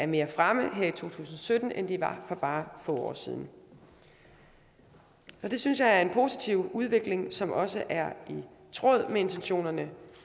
mere fremme her i to tusind og sytten end de var for bare få år siden det synes jeg er en positiv udvikling som også er i tråd med intentionerne